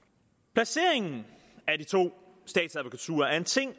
placeringen af de to statsadvokaturer er en ting